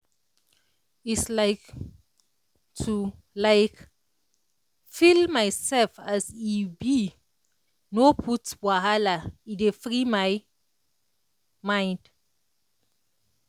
um to um feel myself as as e be no put wahala e dey free my mind.